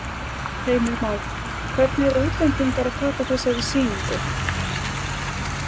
Heimir Már: Hvernig eru útlendingar að taka þessari sýningu?